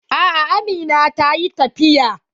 A'a amina ta yi tafiya.